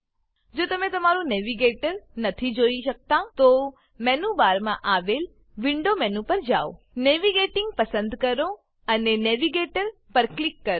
જો તમે તમારું નેવિગેટર નેવીગેટર નથી જોઈ શકતા તો મેનુ બારમાં આવેલ વિન્ડો વિન્ડો મેનુ પર જાવ નેવિગેટિંગ નેવીગેટીંગ પસંદ કરો અને નેવિગેટર નેવીગેટર પર ક્લિક કરો